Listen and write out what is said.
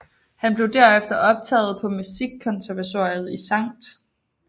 Han blev derefter optaget på musikkonservatoriet i Skt